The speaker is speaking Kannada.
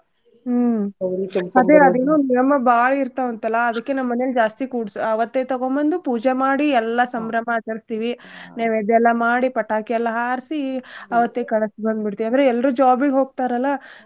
ಹ್ಮ್ ಮತ್ತೇ ಆದಿನ್ನೂ ನಿಯಮ ಬಾಳ್ ಇರ್ತಾವಂತಲ್ಲ ಅದ್ಕೇ ನಮ್ ಮನೇಲ್ ಜಾಸ್ತಿ ಕೂಡ್ಸ್~ ಅವತ್ತೇ ತಗೋಂಬಂದು ಪೂಜೆ ಮಾಡಿ ಎಲ್ಲಾ ಸಂಭ್ರಮ ಆಚಾರ್ಸೀವಿ ನೈವೇದ್ಯ ಎಲ್ಲಾ ಮಾಡಿ ಪಟಾಕಿ ಎಲ್ಲಾ ಹಾರ್ಸಿ ಅವತ್ತೇ ಕಳ್ಸಿ ಬಂದ್ ಬಿಡ್ತೇವಿ. ಅಂದ್ರೆ ಎಲ್ರೂ job ಗ್ ಹೋಗ್ತಾರಲ್ಲ.